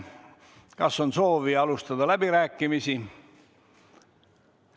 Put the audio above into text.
Kas on soovi alustada läbirääkimisi?